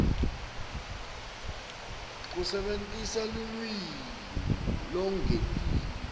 kusebentisa lulwimi lolwengetiwe